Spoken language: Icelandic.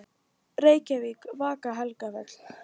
Reykjavík: Vaka-Helgafell.